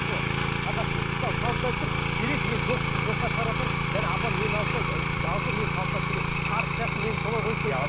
қазақтың мысалы салт дәстүр керек мен жоққа шығарыватқан жаңа апа мені алды да жалпы мен салт дәстүрге қарсы сияқты мені солай қойып қойды да